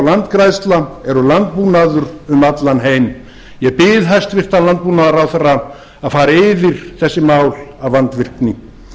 landgræðsla er landbúnaður um allan heim ég bið hæstvirtur landbúnaðarráðherra að fara yfir þessi mál af vandvirkni